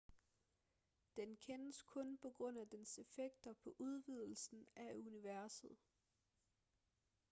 den kendes kun på grund af dens effekter på udvidelsen af universet